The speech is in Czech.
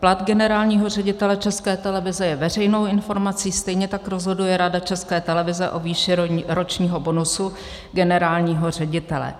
Plat generálního ředitele České televize je veřejnou informací, stejně tak rozhoduje Rada České televize o výši ročního bonusu generálního ředitele.